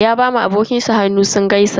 Ya ba wa abokin shi hannu sun gaisa.